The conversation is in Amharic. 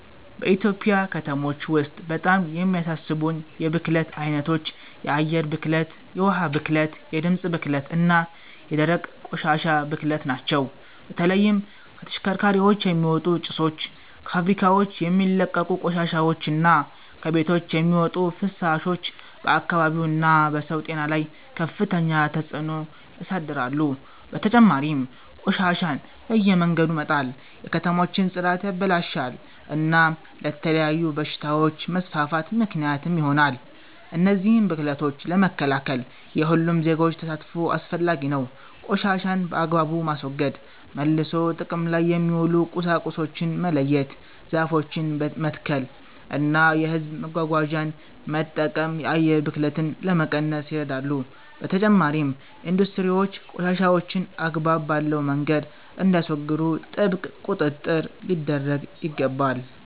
በኢትዮጵያ ከተሞች ውስጥ በጣም የሚያሳስቡኝ የብክለት ዓይነቶች የአየር ብክለት፣ የውኃ ብክለት፣ የድምፅ ብክለት እና የደረቅ ቆሻሻ ብክለት ናቸው። በተለይም ከተሽከርካሪዎች የሚወጡ ጭሶች፣ ከፋብሪካዎች የሚለቀቁ ቆሻሻዎች እና ከቤቶች የሚወጡ ፍሳሾች በአካባቢው እና በሰው ጤና ላይ ከፍተኛ ተጽእኖ ያሳድራሉ። በተጨማሪም ቆሻሻን በየመንገዱ መጣል የከተሞችን ጽዳት ያበላሻል እና ለተለያዩ በሽታዎች መስፋፋት ምክንያት ይሆናል። እነዚህን ብክለቶች ለመከላከል የሁሉም ዜጎች ተሳትፎ አስፈላጊ ነው። ቆሻሻን በአግባቡ ማስወገድ፣ መልሶ ጥቅም ላይ የሚውሉ ቁሳቁሶችን መለየት፣ ዛፎችን መትከል እና የሕዝብ መጓጓዣን መጠቀም የአየር ብክለትን ለመቀነስ ይረዳሉ። በተጨማሪም ኢንዱስትሪዎች ቆሻሻቸውን አግባብ ባለው መንገድ እንዲያስወግዱ ጥብቅ ቁጥጥር ሊደረግ ይገባል።